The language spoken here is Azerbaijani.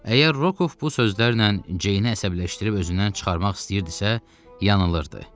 Əgər Rokov bu sözlərlə Ceynə əsəbləşdirib özündən çıxarmaq istəyirdisə, yanılırdı.